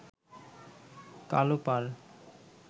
কালো পাড়